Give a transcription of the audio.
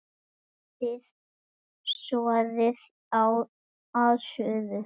Hitið soðið að suðu.